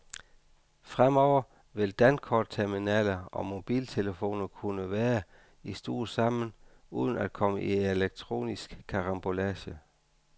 Fremover vil dankortterminaler og mobiltelefoner kunne være i stue sammen uden at komme i elektronisk karambolage.